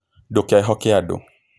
Ndũkehoke andũ